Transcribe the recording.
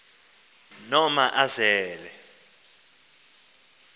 noomazele